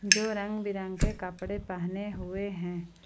जो रंग बिरंगे कपड़े पहने हुए हैं।